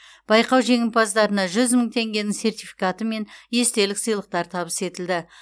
байқау жеңімпаздарына жүз мың теңгенің сертификаты мен естелік сыйлықтар табыс етілді